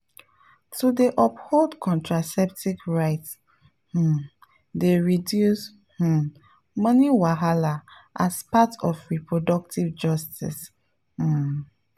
to dey uphold contraceptive rights um dey reduce um money wahala as part of reproductive justice um.